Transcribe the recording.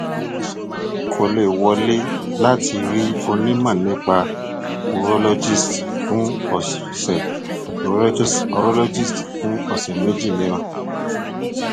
kò lè wọlé láti rí onímọ nípa urologist fún ọsẹ urologist fún ọsẹ méjì mìíràn